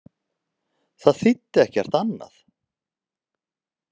Það þýddi ekkert annað.